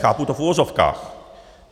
Chápu to v uvozovkách.